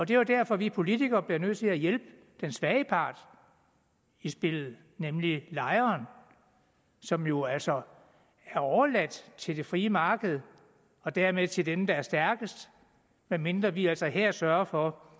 det er derfor vi politikere bliver nødt til at hjælpe den svage part i spillet nemlig lejeren som jo altså er overladt til det frie marked og dermed til dem der er stærkest medmindre vi altså her sørger for